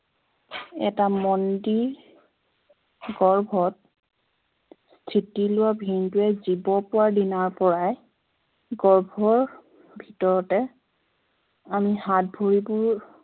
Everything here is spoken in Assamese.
এটা মন্দিৰ গৰ্ভত স্থিতি লোৱা বিন্দুৱে জীৱ পোৱা দিনাৰ পৰাই গৰ্ভৰ ভিতৰতে আমি হাত-ভৰি বোৰ